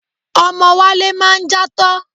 Ọmọ Wálé máa ń játọ́.